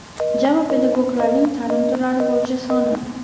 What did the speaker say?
Jami pedagoglarning taʼlim turlari bo‘yicha soni:.